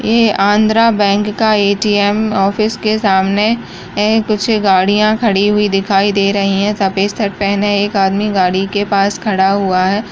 ये आंध्रा बैंक का ATM office के सामने है कुछ गाड़ियां खड़ी हुई दिखाई दे रही हैं सफ़ेद शर्ट पहने एक आदमी गाड़ी के पास खड़ा हुआ है।